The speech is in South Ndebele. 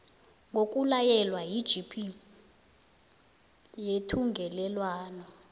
ngokulayelwa yigp yethungelelwano